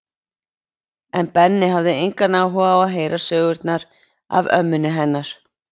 En Benni hafði engan áhuga á að heyra sögurnar af ömmunni hennar